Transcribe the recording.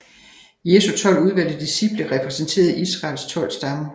Jesu tolv udvalgte disciple repræsenterede Israels tolv stammer